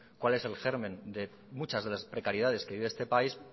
cuál es el germen de muchas de las precariedades que vive este país